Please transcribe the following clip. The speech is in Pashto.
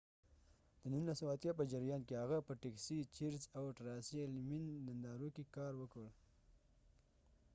د ۱۹۸۰ په جریان کې هغه په ټیکسي، چیرز، او ټراسي الیمین نندارو کې کار وکړ۔